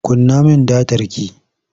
Kunna min datar ki!